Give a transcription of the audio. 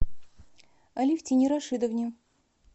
алевтине рашидовне